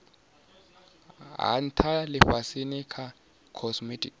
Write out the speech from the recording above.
ha ntha lifhasini tsha cosmic